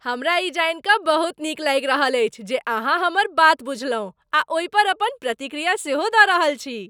हमरा ई जानि कऽ बहुत नीक लागि रहल अछि जे अहाँ हमर बात बुझलहुँ आ ओहिपर अपन प्रतिक्रिया सेहो दऽ रहल छी।